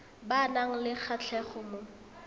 ba nang le kgatlhego mo